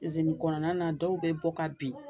Izini kɔnɔna na dɔw bɛ bɔ ka bin,